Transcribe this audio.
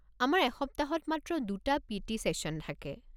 আমাৰ এসপ্তাহত মাত্ৰ দুটা পি.টি. ছেশ্যন থাকে।